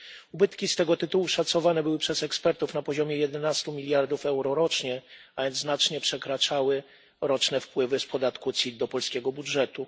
Ubytki z tego tytułu szacowane były przez ekspertów na 11 miliardów euro rocznie, a więc znacznie przekraczały roczne wpływy z podatku CIT do polskiego budżetu.